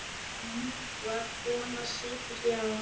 Ljúf þar kona situr hjá.